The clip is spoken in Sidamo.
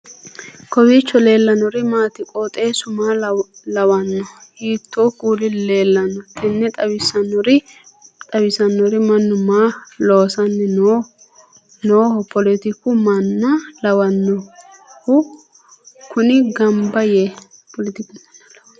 kowiicho leellannori maati ? qooxeessu maa lawaanno ? hiitoo kuuli leellanno ? tini xawissannori mannu maa loosanni nooho poletiku manna lawannohu kuni gamba yee